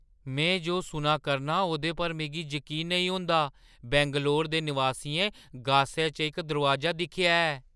में जो सुना करनां ओह्दे पर मिगी जकीन नेईं होंदा! बैंगलोर दे नवासियें गासै च इक दरोआजा दिक्खेआ ऐ!